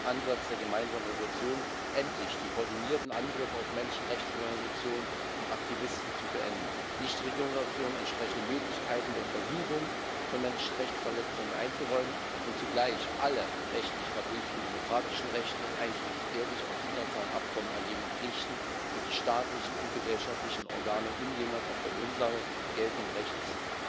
Ansatz der gemeinsamen Entschließung, endlich die koordinierten Angriffe auf Menschenrechtsorganisationen und Aktivisten zu beenden, Nichtregierungsorganisationen entsprechende Möglichkeiten der Untersuchung von Menschenrechtsverletzungen einzuräumen und zugleich alle rechtlich verbrieften demokratischen Rechte einschließlich der sich aus den internationalen Abkommen ergebenden Pflichten für die staatlichen und gesellschaftlichen Organe ungehindert auf der Grundlage geltenden Rechts